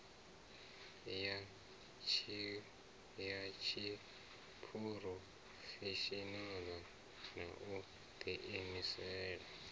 ya tshiphurofeshinala na u diimisela